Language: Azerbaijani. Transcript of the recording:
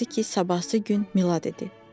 Hansı ki, sabahısı gün Milad idi.